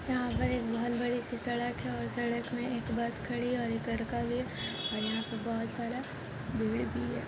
यहां पर एक बहुत बड़ी सी सड़क है और सड़क में एक बस खड़ी है और एक लड़का भी है और यहां पे बहुत सारा भीड़ भी है।